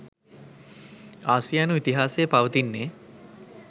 ආසියානු ඉතිහාසයේ පවතින්නේ